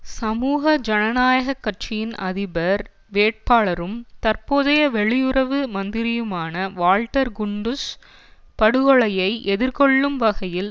சமூக ஜனநாயக கட்சியின் அதிபர் வேட்பாளரும் தற்போதைய வெளியுறவு மந்திரியுமான வால்ட்ர் குண்டுஸ் படுகொலையை எதிர்கொள்ளும் வகையில்